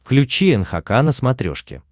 включи нхк на смотрешке